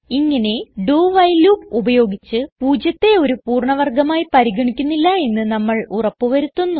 ഇങ്ങനെ do while loop ഉപയോഗിച്ച് പൂജ്യത്തെ ഒരു പൂർണ്ണ വർഗമായി പരിഗണിക്കുന്നില്ല എന്ന് നമ്മൾ ഉറപ്പ് വരുത്തുന്നു